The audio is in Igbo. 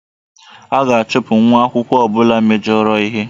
A ga-achụpụ nwa akwụkwọ ọ bụla mejọrọ ihe